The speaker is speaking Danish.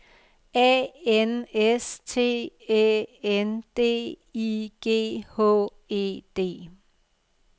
A N S T Æ N D I G H E D